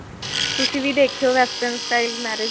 ਤੁਸੀਂ ਵੀ ਦੇਖਿਉ western style marriage